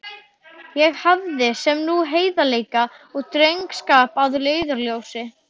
Ég hafði þá sem nú heiðarleika og drengskap að leiðarljósi.